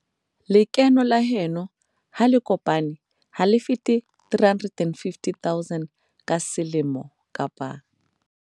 Lekeno la heno ha le kopane ha le fete R350 000 ka selemo kapa